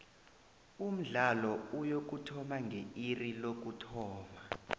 umdlalo uyokuthoma nge iri lokuthoma